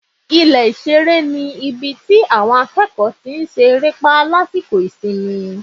ilé ìsere ní ibí tí awọn akeko se erépa lasiko isimí